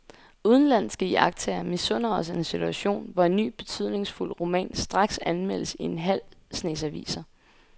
Udenlandske iagttagere misunder os en situation, hvor en ny betydningsfuld roman straks anmeldes i en halv snes aviser.